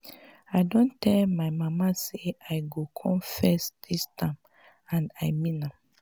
i don tell my mama say i go come first dis term and i mean am